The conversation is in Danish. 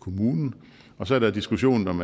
kommunen og så er der diskussionen om